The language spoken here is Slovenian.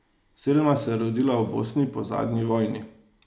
Selma se je rodila v Bosni po zadnji vojni.